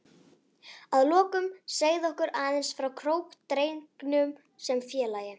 Að lokum segðu okkur aðeins frá Kórdrengjum sem félagi?